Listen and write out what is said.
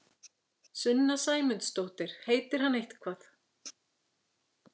Sunna Sæmundsdóttir: Heitir hann eitthvað?